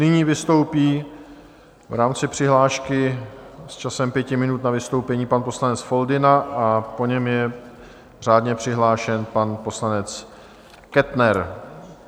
Nyní vystoupí v rámci přihlášky s časem pěti minut na vystoupení pan poslanec Foldyna a po něm je řádně přihlášen pan poslanec Kettner.